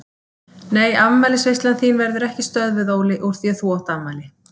Nei afmælisveislan þín verður ekki stöðvuð Óli úr því að þú átt afmæli.